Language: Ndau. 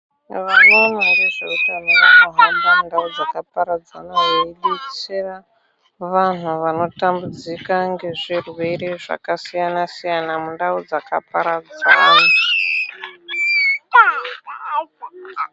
Vano ona ngezve utano vano hamba mu ndau dzaka paradzana vei detsera vanhu vano tambudzika nge zvirwere zvaka siyana siyana mundau dzaka paradzana.